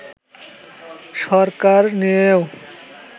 সরকার নিয়েও